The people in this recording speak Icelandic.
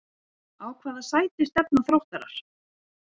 Á hvaða sæti stefna Þróttarar?